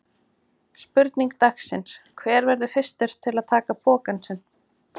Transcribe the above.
Spurning dagsins: Hver verður fyrstur til að taka pokann sinn?